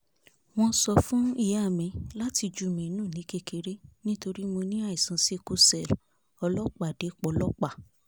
wọ́n sọ fún ìyá mi láti jù mí nù ní kékeré nítorí mo ní àìsàn sickle cell ọlọ́pàdé pọ́lọ́pà